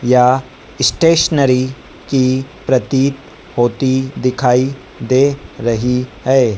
या स्टेशनरी की प्रतीत होती दिखाई दे रही है।